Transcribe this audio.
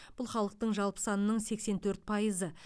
бұл халықтың жалпы санының сексен төрт пайызы